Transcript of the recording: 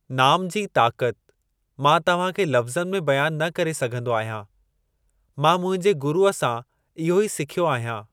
नाम जी ताक़त मां तव्हां खे लफ़्ज़नि में बयानु न करे सघंदो आहियां। मां मुंहिंजे गुरुअ सां इहो ई सिखियो आहियां।